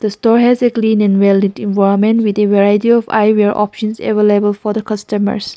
store has a clean and well lit environment with a variety of eyewear options available for the customers.